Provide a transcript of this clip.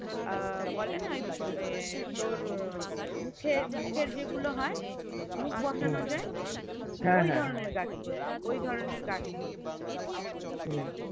আহ বলেনা ওই উম ওর মুখের মুখের যেগুলো হয়ে মুখ বসানো হয়ে ঐধরণের কাজ করবো ঐধরণের কাজ করবো